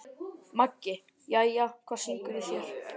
Maggi: Jæja, hvað syngur í þér?